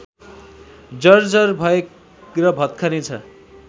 जर्जर भएर भत्कने छ